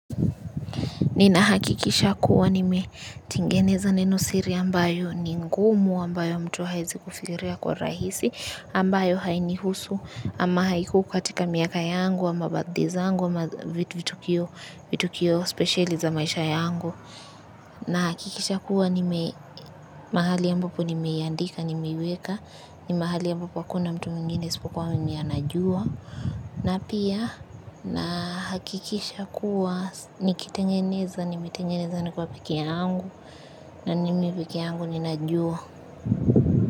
Ninahakikisha kuwa nimetengeneza neno siri ambayo ni ngumu ambayo mtu haezi kufikiria kwa urahisi ambayo hainihusu ama haiko katika miaka yangu ama birthday zangu ama vitukio spesheli za maisha yangu. Nahakikisha kuwa mahali ambapo nimeiandika nimeiweka ni mahali ambapo hakuna mtu mwingine isipokuwa mimi anajua na pia nahakikisha kuwa nikitengeneza nimetengeneza nikiwa peke yangu na ni mimi peke yangu ninajua.